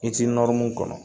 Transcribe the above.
I tɛ nɔrmu kɔnɔ